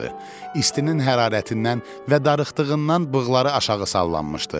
İstinin hərarətindən və darıxdığından bığları aşağı sallanmışdı.